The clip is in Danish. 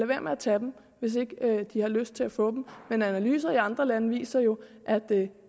være med at tage dem hvis de ikke har lyst til at få dem men analyser i andre lande viser jo at det